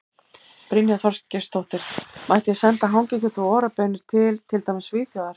Brynja Þorgeirsdóttir: Mætti ég senda hangikjöt og Ora baunir til, til dæmis Svíþjóðar?